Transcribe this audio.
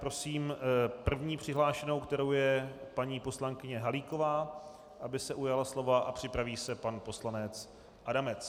Prosím první přihlášenou, kterou je paní poslankyně Halíková, aby se ujala slova, a připraví se pan poslanec Adamec.